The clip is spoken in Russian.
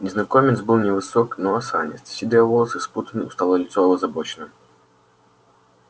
незнакомец был невысок но осанист седые волосы спутаны усталое лицо озабочено